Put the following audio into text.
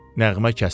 Nəğmə kəsildi.